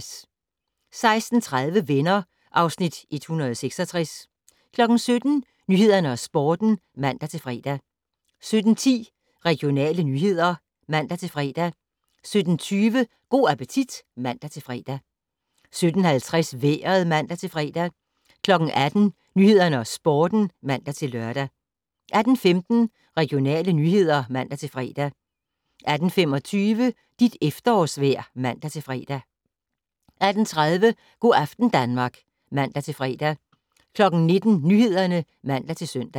16:30: Venner (Afs. 166) 17:00: Nyhederne og Sporten (man-fre) 17:10: Regionale nyheder (man-fre) 17:20: Go' appetit (man-fre) 17:50: Vejret (man-fre) 18:00: Nyhederne og Sporten (man-lør) 18:15: Regionale nyheder (man-fre) 18:25: Dit efterårsvejr (man-fre) 18:30: Go' aften Danmark (man-fre) 19:00: Nyhederne (man-søn)